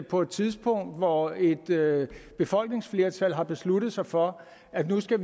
på et tidspunkt hvor et befolkningsflertal har besluttet sig for at vi nu skal